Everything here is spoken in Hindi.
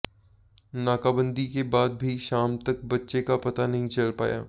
नाकाबंदी के बाद भी शाम तक बच्चे का पता नहीं चल पाया